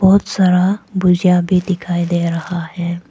बहुत सारा भुजिया भी दिखाई दे रहा है।